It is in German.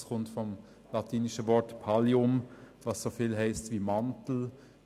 Es kommt vom lateinischen Wort «pallium», was so viel heisst wie Mantel.